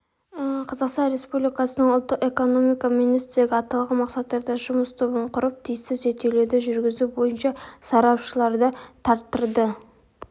қазақстан республикасының ұлттық экономика министрлігі аталған мақсаттарда жұмыс тобын құрып тиісті зерттеулерді жүргізу бойынша сарапшыларды тарттырды